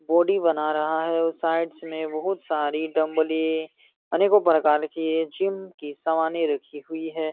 Body बना रहा है और साइडस में बोहुत सारी डमब्ले अनेकों प्रकारो की जिम की सामाने रखी हुई है।